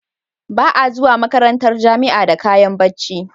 Ba a zuwa makarantar jamia da kayan bacci